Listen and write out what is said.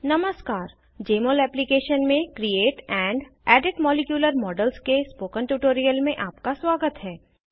नमस्कार Jmol application में create and edit molecular models के स्पोकन ट्यूटोरियल में आपका स्वागत है